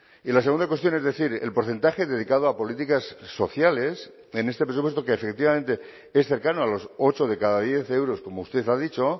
y la segunda cuestión es decir el porcentaje dedicado a políticas sociales en este presupuesto que efectivamente es cercano a los ocho de cada diez euros como usted ha dicho